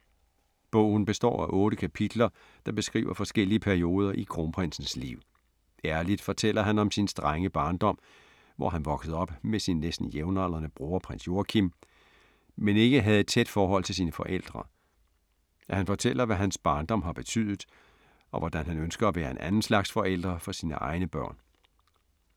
Bogen består af otte kapitler, der beskriver forskellige perioder i Kronprinsens liv. Ærligt fortæller han om sin strenge barndom, hvor han voksede op med sin næsten jævnaldrende bror Prins Joachim, men ikke havde et tæt forhold til sine forældre. Han fortæller, hvad hans barndom har betydet, og hvordan han ønsker at være en anden slags forælder for sine egne børn.